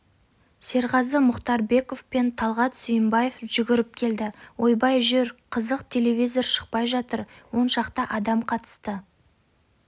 серғазы мұхтарбеков пен талғат сүйінбаев жүгіріп келді ойбай жүр қызық телевизор шықпай жатыр оншақты адам қатысты